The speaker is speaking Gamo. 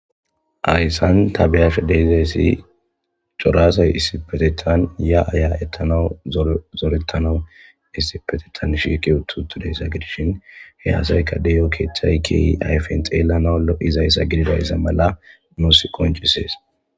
Hayisan ta beashe dizaysi cora asay issippeteten yaa yaetanawu zore zoretanawu issippetetan shiqi uti utiutidayisa gidishin he asaka deio keeththay kehi ayifen xelanawu loizayisa gididayisa mala nus qoncises.